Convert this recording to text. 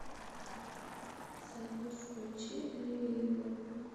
салют включи ревивал